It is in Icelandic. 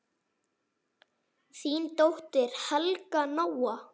Þín dóttir, Helga Nóa.